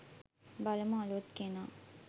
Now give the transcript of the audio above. බලමු අලුත් කෙනා